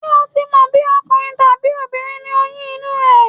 Ṣé ò tí mọ̀ bí ọkùnrin tàbí obìnrin ni oyún inú ẹ?